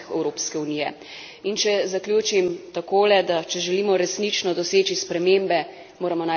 In če zaključim takole, da če želimo resnično doseči spremembe, moramo najprej začeti pri sebi.